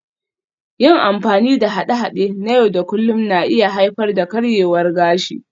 Yin amfani da haɗe-haɗe na yau da kullun na iya haifar da karyewar gashi